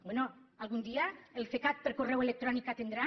bé algun dia el cecat per correu electrònic atendrà